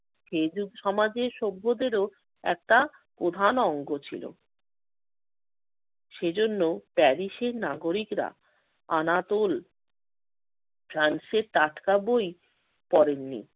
সে যুগ সমাজের সভ্যদেরও একটা প্রধান অঙ্গ ছিল। সেজন্য প্যারিসের নাগরিকরা আনাতোল ফ্রান্সের টাটকা বই পড়েননি